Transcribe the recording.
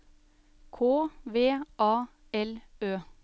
K V A L Ø